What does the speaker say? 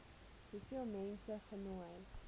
hoeveel mense genooi